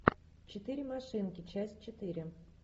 четыре машинки часть четыре